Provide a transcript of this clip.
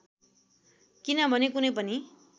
किनभने कुनै पनि